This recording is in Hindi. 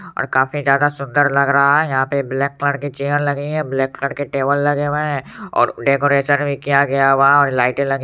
और काफी ज्यादा सुंदर लग रहा है यहाँ पे ब्लैक कलर की चेयर लगी है ब्लैक कलर की टेबल लगे हुए है और डेकोरेशन भी किया गया हुआ है और लाइटे लगी---